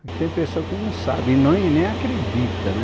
Porque tem pessoa que não sabe e nem nem acredita, né?